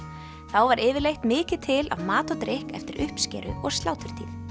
þá var yfirleitt mikið til af mat og drykk eftir uppskeru og sláturtíð